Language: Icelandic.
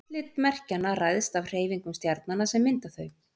Útlit merkjanna ræðst af hreyfingum stjarnanna sem mynda þau.